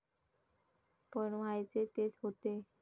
पण व्हायचे तेच होते.